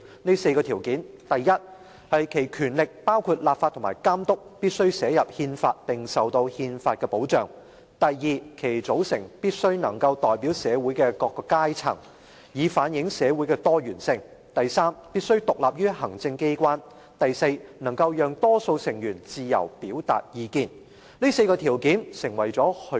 這4個條件是：第一、其權力必須寫入憲法並受到憲法所保障；第二、其組成必須能代表社會的各個階層，以反映社會的多元性；第三、必須獨立於行政機關；及第四，能讓多數成員自由表達意見。